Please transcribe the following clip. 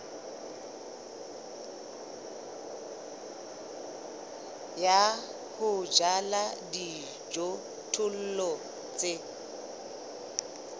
ya ho jala dijothollo tse